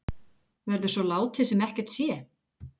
Verður svo látið sem ekkert sé?